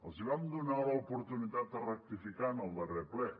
els vam donar l’oportunitat de rectificar en el darrer ple